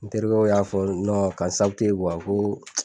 N terikɛw y'a fɔ , ka n ko.